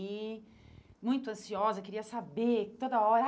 e muito ansiosa, queria saber toda hora.